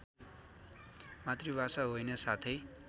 मातृभाषा होइन साथै